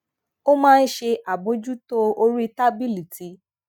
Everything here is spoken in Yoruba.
ó máa ń ṣe àbójútó orí tábìlì tí